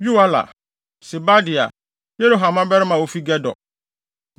Yoela, Sebadia, Yeroham mmabarima a wofi Gedor.